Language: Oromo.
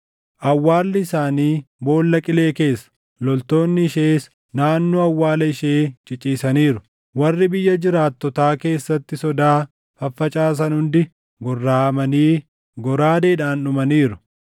Awwaalli isaanii boolla qilee keessa; loltoonni ishees naannoo awwaala ishee ciciisaniiru. Warri biyya jiraattotaa keessatti sodaa faffacaasan hundi gorraʼamanii goraadeedhaan dhumaniiru.